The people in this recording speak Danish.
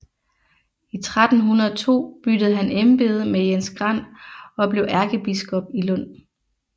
I 1302 byttede han embede med Jens Grand og blev ærkebiskop i Lund